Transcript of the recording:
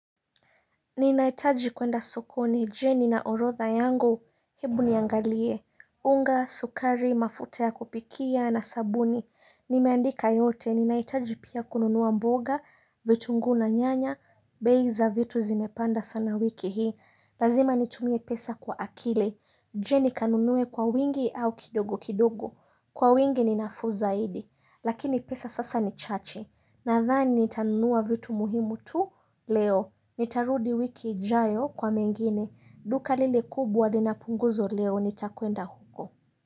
Ninahitaji kwenda sokoni, je nina orotha yangu, hebu niangalie, unga, sukari, mafuta ya kupikia na sabuni, nimeandika yote, ninahitaji pia kununua mboga, vitunguu na nyanya, bei za vitu zimepanda sana wiki hii, lazima nitumie pesa kwa akili, je nikanunuwe kwa wingi au kidogo kidogo, kwa wingi ninafuu zaidi, lakini pesa sasa ni chache, Nadhani nitanunua vitu muhimu tu leo. Nitarudi wiki ijayo kwa mengine. Duka lile kubwa lina punguzo leo nitakwenda huko.